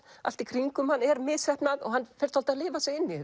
allt í kringum hann er misheppnað og hann fer að lifa sig inn í